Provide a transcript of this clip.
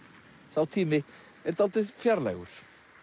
sá tími er dálítið fjarlægur